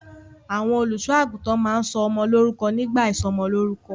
Àwọn olùṣọ́-àgùntàn máa ń sọ ọmọ lórúkọ nígbà ìsọmọlórúkọ.